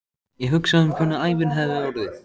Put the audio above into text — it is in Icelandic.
Ég hugsa um hvernig ævin hefði orðið.